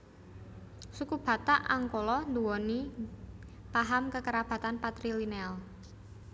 Suku Batak Angkola duweni paham kekerabatan patrilineal